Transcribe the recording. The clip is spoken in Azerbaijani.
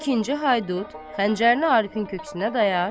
İkinci Haydut xəncərli Arifin köksünə dayar.